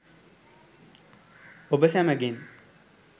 ඔබ සැමගෙන්